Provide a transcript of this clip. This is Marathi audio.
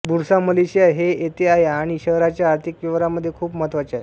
बुरसा मलेशिया हे येथे आहे आणि शहराच्या आर्थिक व्यवहारामध्ये खूप महत्त्वाचे आहे